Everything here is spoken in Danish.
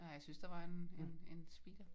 Nej jeg synes der var en en en speeder